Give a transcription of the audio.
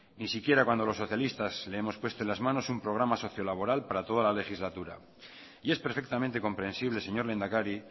ni siquiera cuando los socialistas le hemos puesto en las manos un programa sociolaboral para toda la legislatura y es perfectamente comprensible señor lehendakari